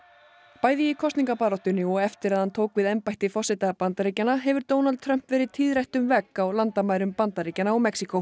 bæði í kosningabaráttunni og eftir að hann tók við embætti forseta Bandaríkjanna hefur Donald Trump verið tíðrætt um vegg á landamærum Bandaríkjanna og Mexíkó